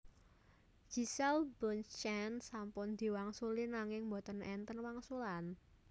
Giselle Bundchen sampun diwangsuli nanging mboten enten wangsulan